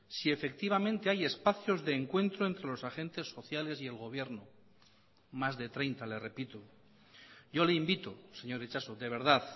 si efectivamente hay espacios de encuentro entre los agentes sociales y el gobierno más de treinta le repito yo le invito señor itxaso de verdad